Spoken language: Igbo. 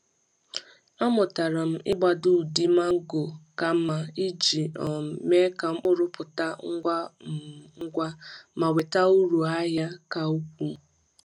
Amụtara m ịgbado ụdị mango ka ka mma iji um mee ka mkpụrụ pụta ngwa um ngwa ma weta uru ahịa ka ukwuu.